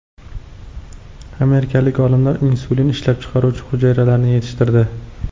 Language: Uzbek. Amerikalik olimlar insulin ishlab chiqaruvchi hujayralarni yetishtirdi.